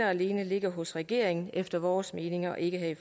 og alene ligger hos regeringen efter vores mening og ikke